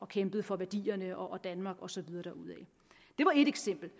kæmpe for værdierne og danmark og så videre derudad det var ét eksempel det